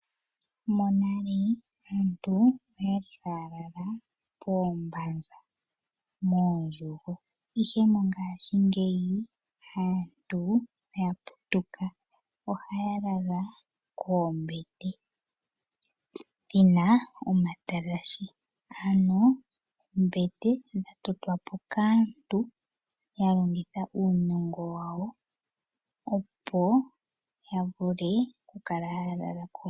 Monale aantu okwali haya lala poombanza mondjugo, ihe mongashingeyi aantu oya putuka ohaya lala koombete dhina omatalashe. Ano oombete dha totwa po kaantu ya longitha uunongo wawo, opo ya vule okukala haya lala ko.